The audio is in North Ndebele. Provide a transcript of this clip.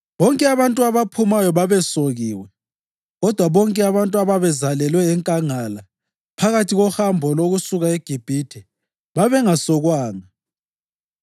Bonke abantu abaphumayo babesokiwe, kodwa bonke abantu ababezalelwe enkangala phakathi kohambo lokusuka eGibhithe babengasokwanga.